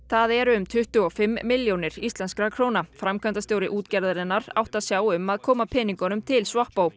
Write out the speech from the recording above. það eru um tuttugu og fimm milljónir íslenskra króna framkvæmdastjóri útgerðarinnar átti að sjá um að koma peningunum til